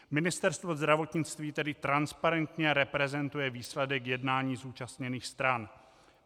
Ministerstvo zdravotnictví tedy transparentně reprezentuje výsledek jednání zúčastněných stran.